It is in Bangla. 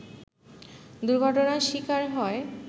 দুর্ঘটনার শিকার হয়